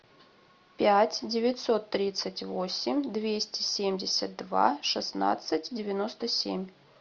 пять девятьсот тридцать восемь двести семьдесят два шестнадцать девяносто семь